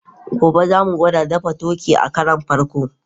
Gobe, za mu gwada dafa turkey a karon farko.